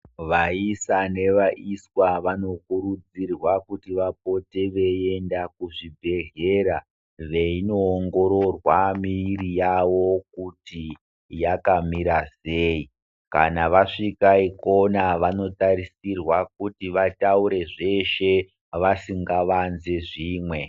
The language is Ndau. Vaisa nevaiswa vano kurudzirwa kuti vapote veienda kuzvibhedhlera veino ongororwa miri kuti yakamira sei kana vasvika ikona vano tarisirwa kuti vataure zveshe vasingavanzi zvimwe .